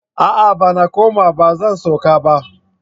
A'a! Bana kuma ba zan so ka ba.